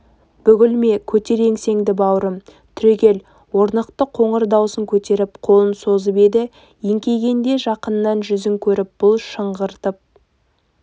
бүгілме көтер еңсеңді бауырым түрегел орнықты қоңыр даусын көтеріп қолын созып еді еңкейгенде жақыннан жүзін көріп бұл шыңғырып